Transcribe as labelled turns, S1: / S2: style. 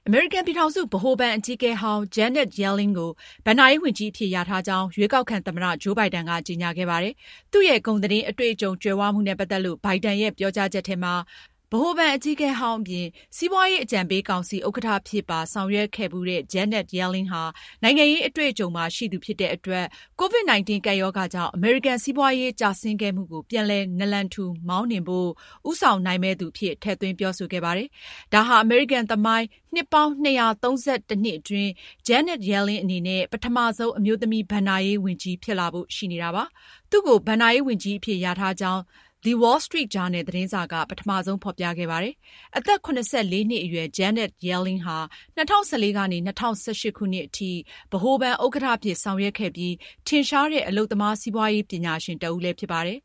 S1: အမေရိကန်ပြည်ထောင်စု ဗဟိုဘဏ်အကြီးအကဲဟောင်း Janet Yellen ကို ဘဏ္ဍာရေးဝန်ကြီးအဖြစ် လျာထားကြောင်း ရွေးကောက်ခံသမ္မတ ဂျိုးဘိုင်ဒန်က ကြေညာခဲ့ပါတယ်။ သူရဲ့ ဂုဏ်သတင်း အတွေ့အကြုံကြွယ်ဝမှုနဲ့ပတ်သက်လို့ ဘိုင်ဒန်ရဲ့ ပြောကြားချက်မှာ- ဗဟိုဘဏ်အကြီးအကဲဟောင်းအပြင် စီးပွားရေးအကြံပေးကောင်စီ ဥက္ကဌ အဖြစ်ပါဆောင်ရွက်ခဲ့ဖူးတဲ့ Janet Yellen ဟာ နိုင်ငံရေးအတွေ့အကြုံပါရှိသူဖြစ်တဲ့အတွက် ကိုဗစ်-၁၉ကပ်ရောဂါကြောင့် အမေရိကန်စီးပွားရေး ကျဆင်းခဲ့မှုကို ပြန်လည်နလန်ထူမောင်းနှင်ဖို့ ဦးဆောင်နိုင်မယ့်သူအဖြစ် ထည့်သွင်းပြောဆိုခဲ့ပါတယ်။ ဒါဟာ အမေရိကန်သမိုင်း နှစ်ပေါင်း ၂၃၁ နှစ်အတွင်း Janet Yellen အနေနဲ့ ပထမဆုံး အမျိုးသမီး ဘဏ္ဍာရေးဝန်ကြီး ဖြစ်လာဖို့ရှိနေတာပါ။ သူ့ကို ဘဏ္ဍာရေးဝန်ကြီးအဖြစ်လျာထားကြောင်း The Wall Street ဂျာနယ်သတင်းစာက ပထမဆုံး ဖေါ်ပြခဲ့တာဖြစ်ပါတယ်။ အသက် (၇၄)နှစ်အရွယ် Janet Yellen ဟာ ၂၀၁၄ ကနေ ၂၀၁၈ အထိ ဗဟိုဘဏ် ဥက္ကဌအဖြစ်ဆောင်ရွက်ခဲ့ပြီး ထင်ရှားတဲ့ အလုပ်သမားစီးပွားရေး ပညာရှင်တဦးလည်းဖြစ်ပါတယ်။